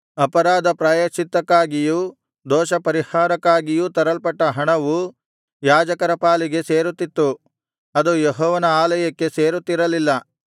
ಅಪರಾಧ ಪ್ರಾಯಶ್ಚಿತ್ತಕ್ಕಾಗಿಯೂ ದೋಷಪರಿಹಾರಕ್ಕಾಗಿಯೂ ತರಲ್ಪಟ್ಟ ಹಣವು ಯಾಜಕರ ಪಾಲಿಗೆ ಸೇರುತ್ತಿತ್ತು ಅದು ಯೆಹೋವನ ಆಲಯಕ್ಕೆ ಸೇರುತ್ತಿರಲಿಲ್ಲ